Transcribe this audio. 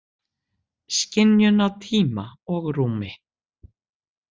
Skynjun á tíma og rúmi?